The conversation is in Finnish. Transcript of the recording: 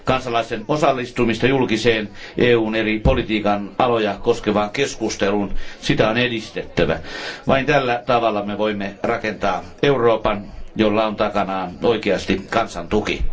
Kansalaisten osallistumista julkiseen, EUn eri politiikan aloja koskevaan keskusteluun on edistettävä. Vain tällä tavalla me voimme rakentaa Euroopan, jolla on oikeasti takanaan kansan tuki.